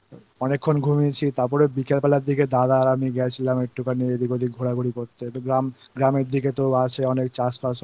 অনেকক্ষণ ঘুমিয়েছি তারপর বিকেল বেলার দিকে দাদা